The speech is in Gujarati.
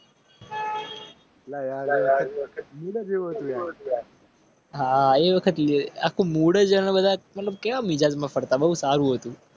બહુ સારું હતું